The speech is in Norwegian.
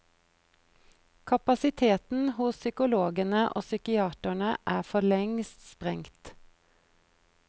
Kapasiteten hos psykologene og psykiaterne er forlengst sprengt.